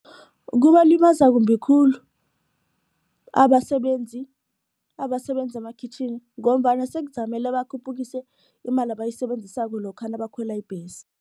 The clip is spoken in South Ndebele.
Kubalimaza kumbi khulu abasebenzi abasebenza emakhitjhini ngombana sekuzakumele bakhuphukise imali abayisebenzisako lokha nabakhwela ibhesi.